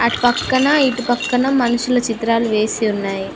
అటు పక్కన ఇటు పక్కన మనుషుల చిత్రాలు వేసి ఉన్నాయి.